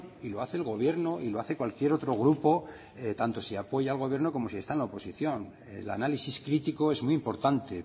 y lo hace el gobierno y lo hace cualquier otro grupo tanto si apoya al gobierno como si está en la oposición el análisis crítico es muy importante